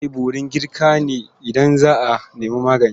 Za a yi borin girka ne idan za a nemi magani.